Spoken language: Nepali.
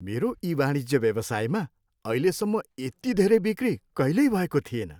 मेरो ईवाणिज्य व्यवसायमा अहिलेसम्म यति धेरै बिक्री कहिल्यै भएको थिएन।